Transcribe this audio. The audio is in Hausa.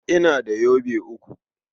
Ina da yobe uku.